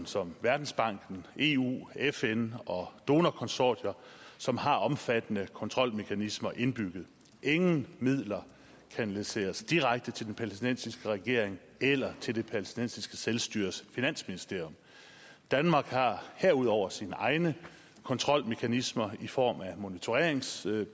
som verdensbanken eu fn og donorkonsortier som har omfattende kontrolmekanismer indbygget ingen midler kanaliseres direkte til den palæstinensiske regering eller til det palæstinensiske selvstyres finansministerium danmark har herudover sine egne kontrolmekanismer i form af monitoreringsbesøg